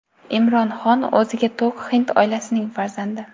Imron Xon o‘ziga to‘q hind oilasining farzandi.